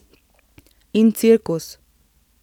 In cirkus.